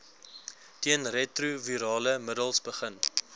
teenretrovirale middels begin